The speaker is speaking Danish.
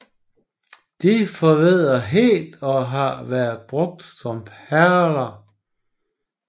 De forvedder helt og har været brugt som perler